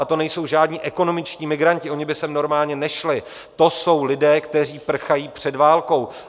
A to nejsou žádní ekonomičtí migranti, oni by sem normálně nešli, to jsou lidé, kteří prchají před válkou.